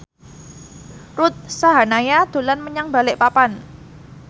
Ruth Sahanaya dolan menyang Balikpapan